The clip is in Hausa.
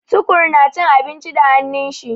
Tukur na cin abinci da hannun shi.